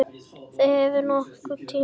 Þau höfðu haft nógan tíma.